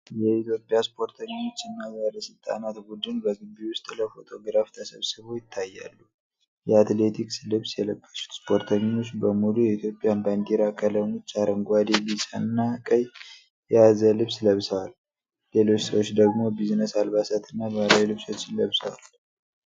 የኢትዮጵያ ስፖርተኞች እና ባለሥልጣናት ቡድን በግቢ ውስጥ ለፎቶግራፍ ተሰብስበው ይታያሉ። የአትሌቲክስ ልብስ የለበሱት ስፖርተኞች በሙሉ የኢትዮጵያን ባንዲራ ቀለሞች (አረንጓዴ፣ ቢጫ እና ቀይ) የያዘ ልብስ ለብሰዋል። ሌሎች ሰዎች ደግሞ ቢዝነስ አልባሳት እና ባህላዊ ልብሶችን ለብሰዋል።